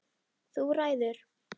Þú ræður!